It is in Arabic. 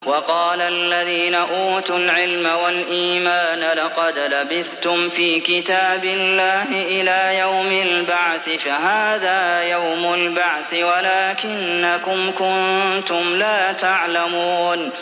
وَقَالَ الَّذِينَ أُوتُوا الْعِلْمَ وَالْإِيمَانَ لَقَدْ لَبِثْتُمْ فِي كِتَابِ اللَّهِ إِلَىٰ يَوْمِ الْبَعْثِ ۖ فَهَٰذَا يَوْمُ الْبَعْثِ وَلَٰكِنَّكُمْ كُنتُمْ لَا تَعْلَمُونَ